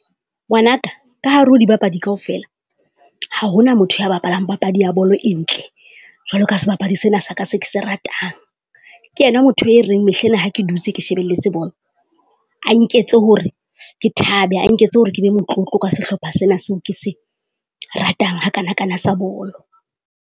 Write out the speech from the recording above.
Ngwanaka ka hare ho dibapadi kaofela, ha ho na motho a bapalang papadi ya bolo e ntle jwalo ka sebapadi sena sa ka se ke se ratang. Ke yena motho e reng mehle ena ha ke dutse ke shebelletse bolo, a nketse hore ke thaba, a nketse hore ke be motlotlo ka sehlopha sena seo ke se ratang hakanakana sa bolo.